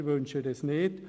Wir wünschen das nicht.